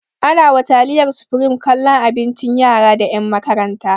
Ana wa taliyar supreme kallon abincin yara da ƴan makaranta